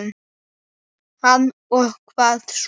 Hann: Og hvað svo?